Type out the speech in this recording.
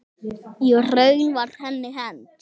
Í raun var henni hent.